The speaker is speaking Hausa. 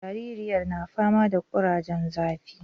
Jaririyar na fama da kurajen zafi